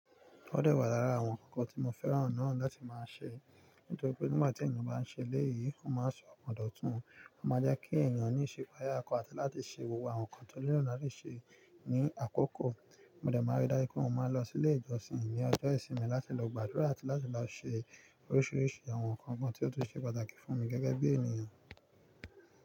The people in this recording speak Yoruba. Ó dẹ̀ wà lára àwọn ǹnkan tí mo fẹ́ràn náà láti máa ṣe. Nítorí pé nígbà tí ènìyàn bá ń ṣe eléyìí, ó máa ń sọ ọ̀pọ̀ dọ́ tún. Ó máa jẹ́ kí ẹ̀eyàn ní ìsipayà okan àti láti ṣe gbogbo àwọn nǹkan tó nílò láti ṣe ní àkókò. Mo dẹ̀ máa rí dájú pé mo máa lọ sí ilé ìjọsìn ní ọjọ́ ìsinmi láti lọ gbàdúrà àti láti lọ ṣe oríṣiiríṣii àwọn nǹkan kan tí ó tún ṣe pàtàkì fún mi gẹ́gẹ́ bí ènìyàn.